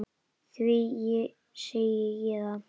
Því segi ég það.